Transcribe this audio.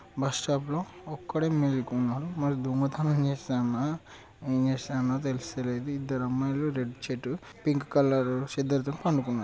bus stop లో ఒక్కడే మెలుకున్నాడు మరి దొగతనం చేస్తన్నా ఏమి చేస్తన్న తెలుస్త లేదు ఇద్దరు అమ్మాయిలు రెడ్ షర్ట్ పింక్ కలర్ చెద్దరుతోని పండుకున్నారు --